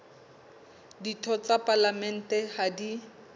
ditho tsa palamente ha di